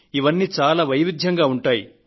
ఇవన్నీ చాలా వైవిధ్యంగా ఉంటాయి